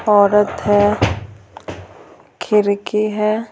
औरत है खिरकी है।